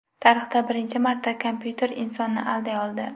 Tarixda birinchi marta kompyuter insonni alday oldi.